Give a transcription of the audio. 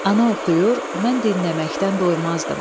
Ana oxuyur, mən dinləməkdən doymazdım.